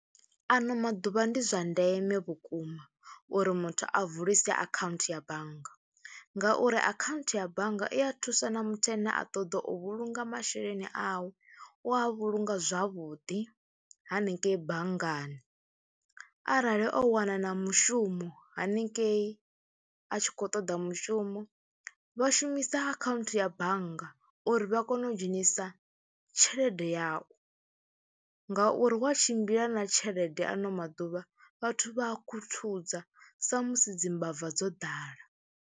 Ano maḓuvha ndi zwa ndeme vhukuma uri muthu a vulise akhaunthu ya bannga ngauri akhaunthu ya bannga i a thusa na muthu ane a ṱoḓa u vhulunga masheleni awe. U a vhulunga zwavhuḓi hanengeyi banngani, arali o wana na mushumo haningei a tshi khou ṱoḓa mushumo vha shumisa akhaunthu ya bannga uri vha kone u dzhenisa tshelede yau ngauri wa tshimbila na tshelede ano maḓuvha vhathu vha a khuthuza sa musi dzi mbava dzo ḓala.